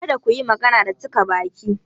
Kada ku yi magana da cika baki!